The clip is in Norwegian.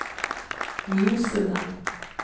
Mjosundet